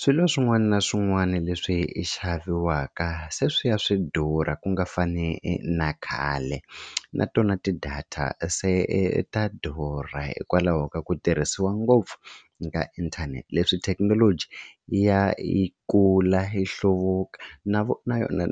Swilo swin'wana na swin'wana leswi xaviwaka se swi ya swi durha ku nga fani na khale na tona ti-data se ta durha hikwalaho ka ku tirhisiwa ngopfu ka inthanete leswi thekinoloji yi ya yi kula yi hluvuka na